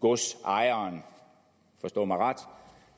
godsejeren forstå mig ret